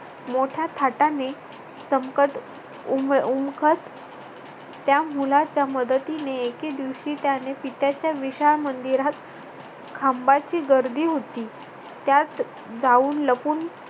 मोठ्या थाटाने चमकत उमखत त्या मुलाच्या मदतीने एके दिवशी त्याने पित्याच्या विशाल मंदिरा खांबाची गर्दी होती त्यात जाऊन लपून